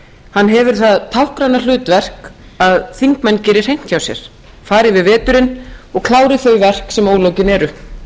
hann hefur það táknræna hlutverk að þingmenn geri hreint hjá sér fari yfir veturinn og klári þau verk sem ólokið er en nú eru